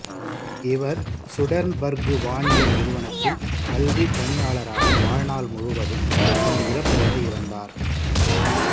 இவர் சுடெர்ன்பர்கு வானியல் நிறுவனத்தில் கல்விப்பணியாளராக வாழ்நாள் முழுவதும் தன் இறப்பு வரை இருந்தார்